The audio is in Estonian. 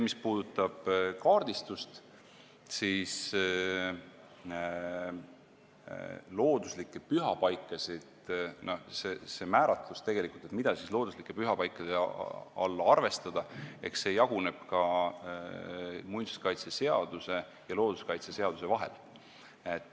Mis puudutab kaardistust, siis see määratlus, mida looduslike pühapaikade alla arvestada, jaguneb muinsuskaitseseaduse ja looduskaitseseaduse vahel.